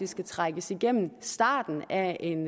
skal trækkes igennem starten af en